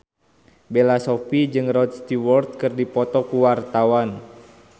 Bella Shofie jeung Rod Stewart keur dipoto ku wartawan